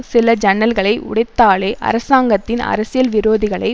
சில ஜன்னல்களை உடைத்தாலே அரசாங்கத்தின் அரசியல் விரோதிகளை